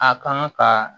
A kan ka